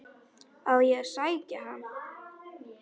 Á ég að sækja hann?